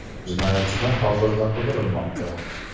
Jinoyatchilar hozirda qidirilmoqda.